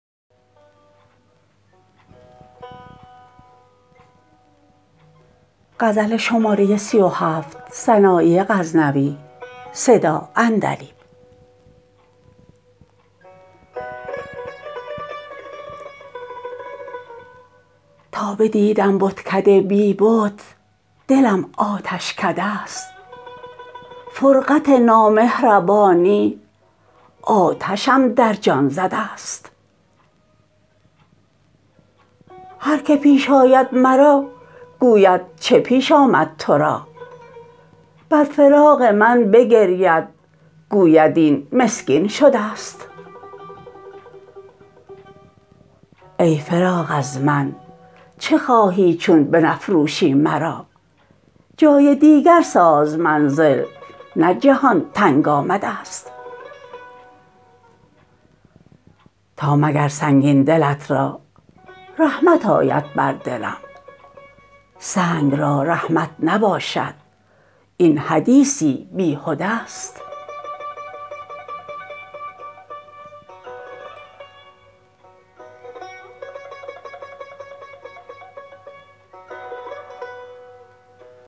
تا بدیدم بتکده بی بت دلم آتشکده است فرقت نامهربانی آتشم در جان زده است هر که پیش آید مرا گوید چه پیش آمد تو را بر فراق من بگرید گوید این مسکین شده است ای فراق از من چه خواهی چون بنفروشی مرا جای دیگر ساز منزل نه جهان تنگ آمده است تا مگر سنگین دلت را رحمت آید بر دلم سنگ را رحمت نباشد این حدیثی بیهده است